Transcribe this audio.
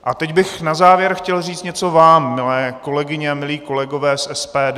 A teď bych na závěr chtěl říct něco vám, milé kolegyně a milí kolegové z SPD.